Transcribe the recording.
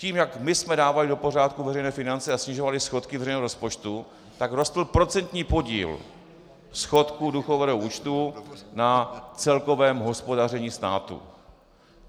Tím, jak my jsme dávali do pořádku veřejné finance a snižovali schodky veřejného rozpočtu, tak rostl procentní podíl schodku důchodového účtu na celkovém hospodaření státu.